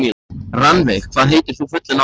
Rannveig, hvað heitir þú fullu nafni?